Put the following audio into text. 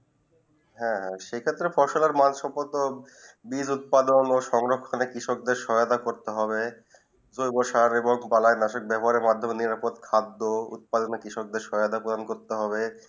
হেঁ সেই ক্ষেত্রে ফসলে মাসপত্র বীজ উৎপাদন সংগ্রহে কৃষক দের সহায়তা করতে হবে জোর ফসলে কীটনাশকে ব্যবহারে নিরাপদ খাদ্য উৎপাদন কৃষক দের সহায়তা করতে হবে